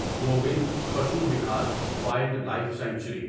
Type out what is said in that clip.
Govind Pashu Vihar wildlife sanctuary